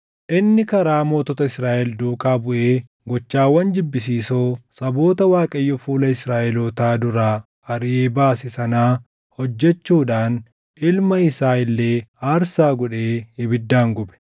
Inni karaa mootota Israaʼel duukaa buʼee gochawwan jibbisiisoo saboota Waaqayyo fuula Israaʼelootaa duraa ariʼee baase sanaa hojjechuudhaan ilma isaa illee aarsaa godhee ibiddaan gube.